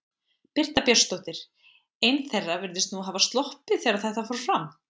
Birta Björnsdóttir: Ein þeirra virðist nú hafa sloppið þegar að þetta fór fram?